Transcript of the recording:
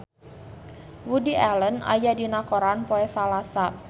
Woody Allen aya dina koran poe Salasa